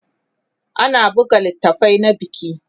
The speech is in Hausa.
ana buga littafai na biki